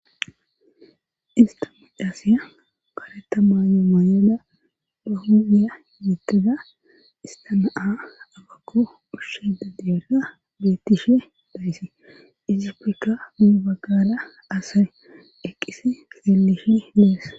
Ista mochaasiya kareta mayo maayoda baa huphpheziya tiyettada istanaa agakko ushsheda diyerra bettishe dayse isipfekka mubaggara asawe eqqisi keelishi dees